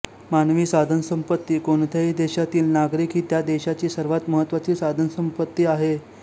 मानवी साधनसंपत्ती कोणत्याही देशातील नागरिक ही त्या देशाची सर्वात महत्त्वाची साधनसंपत्ती असते